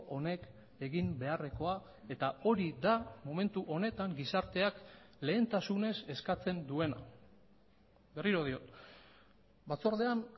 honek egin beharrekoa eta hori da momentu honetan gizarteak lehentasunez eskatzen duena berriro diot batzordean